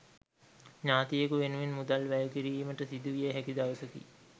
ඥාතියකු වෙනුවෙන් මුදල් වැය කිරීමට සිදුවිය හැකි දවසකි